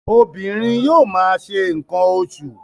Obìnrin yóò ma ṣe nǹkan oṣù.